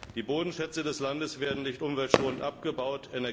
Die Bodenschätze des Landes werden nicht umweltschonend abgebaut.